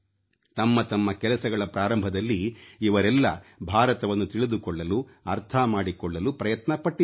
ತಮ್ಮ ತಮ್ಮ ಕೆಲಸಗಳ ಪ್ರಾರಂಭದಲ್ಲಿ ಇವರೆಲ್ಲ ಭಾರತವನ್ನು ತಿಳಿದುಕೊಳ್ಳಲು ಅರ್ಥ ಮಾಡಿಕೊಳ್ಳಲು ಪ್ರಯತ್ನ ಪಟ್ಟಿದ್ದರು